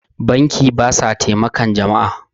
banki ba sa taimakan jama'a